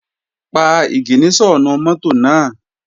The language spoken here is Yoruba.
Pa ìgìníṣọ̀nù mọ́tò náà!